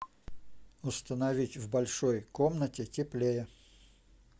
установить в большой комнате теплее